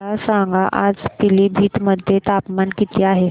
मला सांगा आज पिलीभीत मध्ये तापमान किती आहे